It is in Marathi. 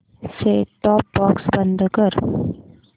सेट टॉप बॉक्स बंद कर